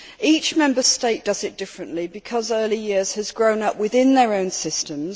Each Member State does it differently, because early years has grown up within their own systems.